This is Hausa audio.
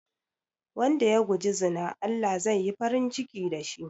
Wanda ya guji zina Allah zai yi farin ciki da shi